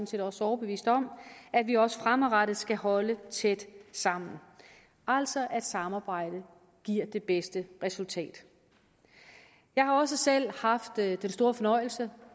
set også overbevist om at vi også fremadrettet skal holde tæt sammen altså at samarbejdet giver det bedste resultat jeg har også selv haft den store fornøjelse